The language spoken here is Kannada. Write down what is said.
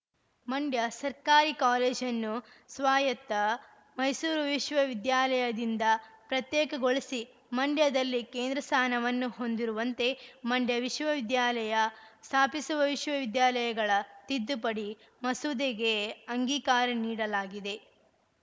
ಮಂಡ್ಯ ಸರ್ಕಾರಿ ಕೋಲೇಜನ್ನು ಸ್ವಾಯತ್ತ ಮೈಸೂರು ವಿಶ್ವವಿದ್ಯಾಲಯದಿಂದ ಪ್ರತ್ಯೇಕಗೊಳಿಸಿ ಮಂಡ್ಯದಲ್ಲಿ ಕೇಂದ್ರ ಸ್ಥಾನವನ್ನು ಹೊಂದಿರುವಂತೆ ಮಂಡ್ಯ ವಿಶ್ವವಿದ್ಯಾಲಯ ಸ್ಥಾಪಿಸುವ ವಿಶ್ವವಿದ್ಯಾಲಯಗಳ ತಿದ್ದುಪಡಿ ಮಸೂದೆಗೆ ಅಂಗೀಕಾರ ನೀಡಲಾಗಿದೆ